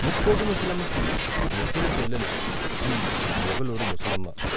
ముక్కోటి ముసలమ్మకి ముద్దుల చెల్లెలు, ఈ మోగులూరు ముసలమ్మ.